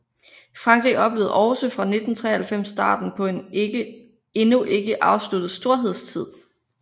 Frankrig oplevede også fra 1993 starten på en endnu ikke afsluttet storhedstid